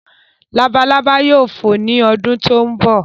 Labalábá yóò fò ní ọdún tí ó ń bọ̀